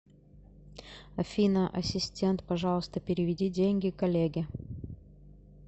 афина ассистент пожалуйста переведи деньги коллеге